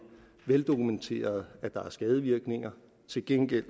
veldokumenteret at der er skadevirkninger til gengæld